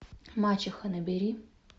мачеха набери